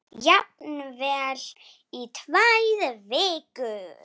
Jafnvel í tvær vikur.